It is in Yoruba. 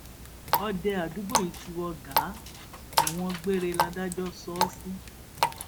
òde àdúgbò yìí ti wọ gàá ẹwọn gbére ládàjọ ṣó o sì